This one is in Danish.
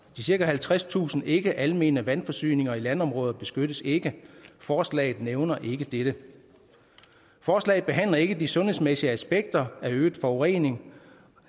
de cirka halvtredstusind ikkealmene vandforsyninger i landområder beskyttes ikke forslaget nævner ikke dette forslaget behandler ikke de sundhedsmæssige aspekter af øget forurening